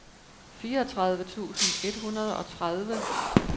fireogtredive tusind et hundrede og tredive